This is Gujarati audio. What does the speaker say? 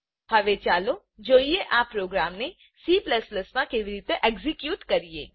હવે ચાલો જોઈએ આ પ્રોગ્રામ ને C માં કેવી રીતે એક્ઝેક્યુટ કરવું